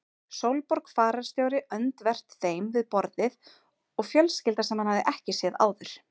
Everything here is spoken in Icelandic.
Sólborg fararstjóri öndvert þeim við borðið og fjölskylda sem hann hafði ekki séð áður.